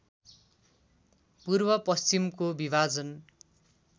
पूर्व पश्चिमको विभाजन